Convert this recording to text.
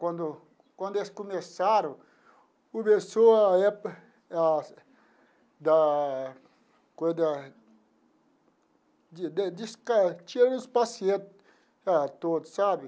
Quando quando eles começaram, começou a época a da coisa da de de tirar os pacientes todos, sabe?